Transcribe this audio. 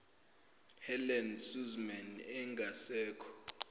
helen suzman ongasekho